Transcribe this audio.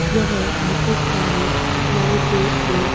यहाँ बहुत सारी लाइटें और--